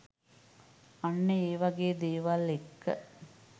අන්න ඒවගේ දේවල් එක්ක